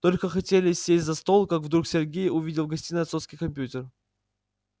только хотели сесть за стол как вдруг сергей увидел в гостиной отцовский компьютер